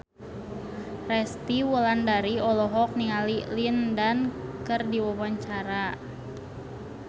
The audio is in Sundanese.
Resty Wulandari olohok ningali Lin Dan keur diwawancara